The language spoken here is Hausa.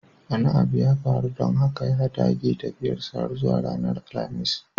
Wani abu ya faru don haka ya dage tafiyarsa har zuwa ranar alhamis